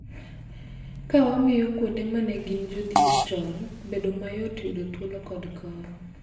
Ka wamiyo kuonde ma ne gin jodhier chon bedo mayot yudo thuolo kod kony.